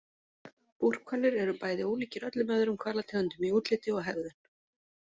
Búrhvalir eru bæði ólíkir öllum öðrum hvalategundum í útliti og hegðun.